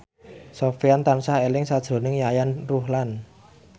Sofyan tansah eling sakjroning Yayan Ruhlan